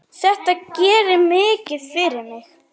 Þetta gerir mikið fyrir mig.